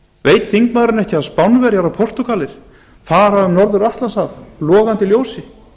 veit þingmaðurinn ekki að spánverjar og portúgalar fara um norður atlantshaf logandi ljósi